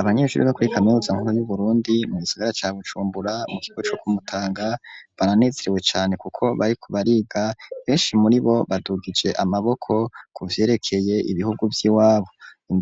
Abanyeshubure bo muri kaminuza nkuru y'uburundi mugisagara ca bujumbura mu kigo co k'umutanga baranezerewe cane kuko bariku bariga benshi muri bo badugije amaboko ku vyerekeye ibihugu vy'iwabo